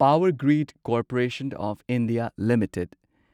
power grid corporation of India limited